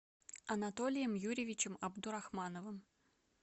анатолием юрьевичем абдурахмановым